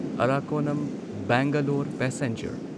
Arakkonam Bangalore passenger